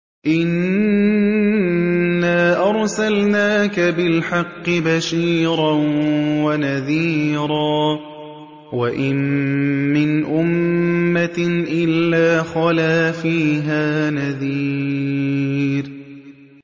إِنَّا أَرْسَلْنَاكَ بِالْحَقِّ بَشِيرًا وَنَذِيرًا ۚ وَإِن مِّنْ أُمَّةٍ إِلَّا خَلَا فِيهَا نَذِيرٌ